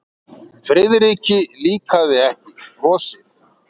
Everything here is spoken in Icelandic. Friðriki líkaði ekki brosið.